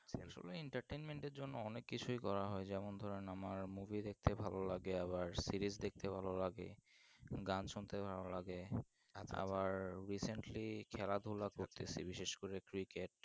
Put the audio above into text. এ সময় entertainment এর জন্য অনেক কিছুই করা হয় যেমন ধরেন আমার movie দেখতে ভালো লাগে আবার series দেখতে ভালো লাগে গান শুনতে ভালো লাগে আবার recently খেলাধুলো করতে বিশেষ করে cricket